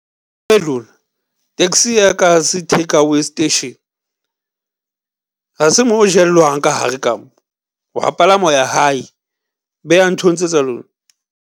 Hei lona, taxi e ya ka ha se takeaway station ha se mo ho jellwang ka hare ka mo, o a palama o ya hae beyang ntho tse tsa lona.